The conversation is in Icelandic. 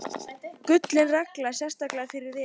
Gullin regla, sérstaklega fyrir refinn.